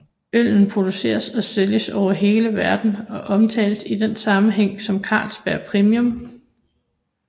Øllen produceres og sælges over hele verden og omtales i den sammenhæng som Carlsberg Premium